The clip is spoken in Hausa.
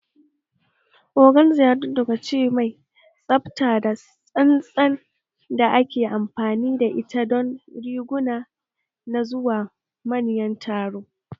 Organza yadudduka ce mai tsafta da tsantsan da ake amfani da ita don riguna na zuwa manyan taro